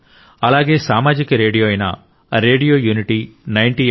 అలాగే సామాజిక రేడియో అయిన రేడియో యూనిటీ 90 ఎఫ్